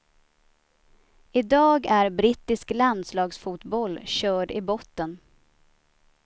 I dag är brittisk landslagsfotboll körd i botten.